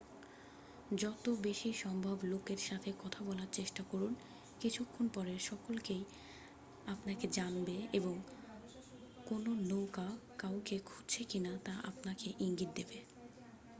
যত বেশি সম্ভব লোকের সাথে কথা বলার চেষ্টা করুন কিছুক্ষণ পরে সকলেই আপনাকে জানবে এবং কোনো নৌকা কাউকে খুঁজছে কিনা তা আপনাকে ইঙ্গিত দেবে